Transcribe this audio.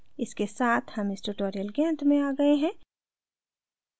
इसके साथ हम इस tutorial के अंत में आ गए हैं